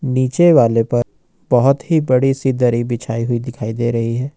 नीचे वाले पर बहुत ही बड़ी सी दरी बिछी हुई दिखाई दे रही है।